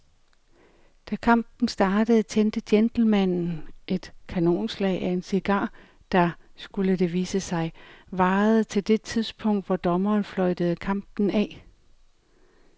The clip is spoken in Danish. Da kampen startede tændte gentlemanen et kanonslag af en cigar, der, skulle det vise sig, varede til det tidspunkt, hvor dommeren fløjtede kampen af.